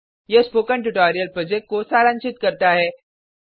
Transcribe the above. यह spoken tutorial project को सारांशित करता है